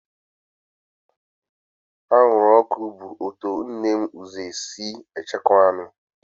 Anwụrụọkụ bụ otu n'ime ụzọ esi echekwaa anụ